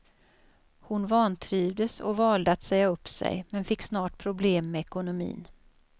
Hon vantrivdes och valde att säga upp sig, men fick snart problem med ekonomin.